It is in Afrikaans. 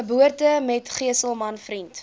geboortemetgesel man vriend